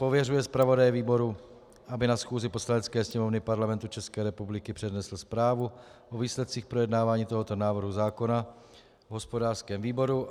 Pověřuje zpravodaje výboru, aby na schůzi Poslanecké sněmovny Parlamentu České republiky přednesl zprávu o výsledcích projednávání tohoto návrhu zákona v hospodářském výboru.